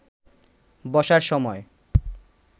বসার সময়